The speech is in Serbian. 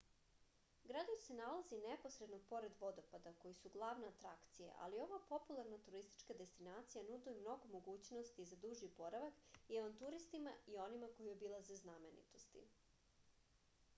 gradić se nalazi neposredno pored vodopada koji su glavna atrakcija ali ova popularna turistička destinacija nudi mnogo mogućnosti za duži boravak i avanturistima i onima koji obilaze znamenitosti